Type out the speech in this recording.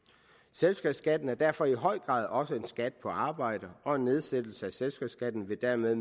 selskabsskatten er derfor i høj grad også en skat på arbejde og en nedsættelse af selskabsskatten vil dermed